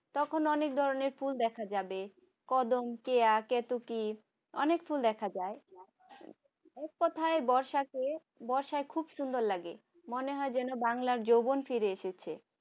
তখন অনেক ধরনের ফুল দেখা যাবে কদম কেয়া কেতকী অনেক ফুল দেখা যায় কোথায় বর্ষাতে বর্ষা খুব সুন্দর লাগে। মনে হয় যেন বাংলা যৌবন ফিরে এসেছে।